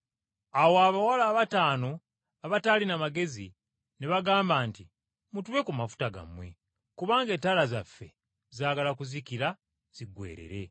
Awo abawala abataano abataalina magezi ne bagamba nti, ‘Mutuwe ku mafuta gammwe, kubanga ettaala zaffe zaagala kuzikira ziggweerera.’